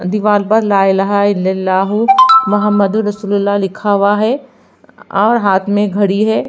दीवाल पर ला इलाहा इल अल्लाह हु मोहम्मद उर रसूल उल्लाह लिखा हुआ है और हाथ में घड़ी है।